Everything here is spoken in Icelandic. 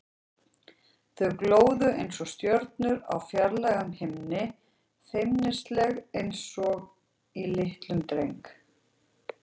Þau glóðu einsog stjörnur á fjarlægum himni, feimnisleg einsog í litlum dreng.